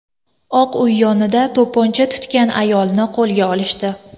Oq uy yonida to‘pponcha tutgan ayolni qo‘lga olishdi.